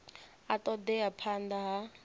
a ṱo ḓea phanḓa ha